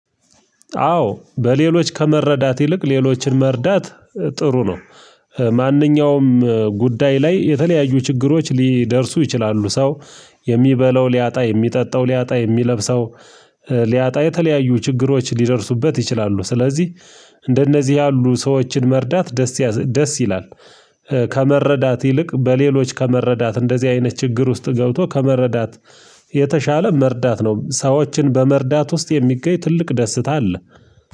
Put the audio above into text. አዎ፣ በሌሎች ከመረዳት ይልቅ ሌሎችን መርዳት ጥሩ ነው። ማንኛውም ጉዳይ ላይ የተለያዩ ችግሮች ሊደርሱ ይችላሉ። ሰው የሚበለው ሊያጣ፣ የሚጠጣው ሊያጣ፣ የሚለብሰው ሊያጣ፣ የተለያዩ ችግሮች ሊደርሱበት ይችላሉ። ስለዚህ እንደነዚህ ያሉ ሰዎችን መርዳት ደስ ደስ ይላል። ከመረዳት ይልቅ በሌሎች ከመረዳት እንደዚህ አይነት ችግር ውስጥ ገብቶ ከመረዳት የተሻለ መርዳት ነው። ሰዎችን በመርዳት ውስጥ የሚገኝ ትልቅ ደስታ አለ።